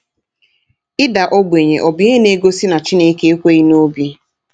Ịda Ogbenye Ọ Bụ Ihe Na-egosi na Chineke Ekweghị n’Obi?